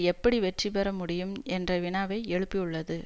எப்படி வெற்றி பெற முடியும் என்ற வினாவை எழுப்பியுள்ளது